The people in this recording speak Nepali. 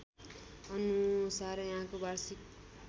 अनुसार यहाँको वार्षिक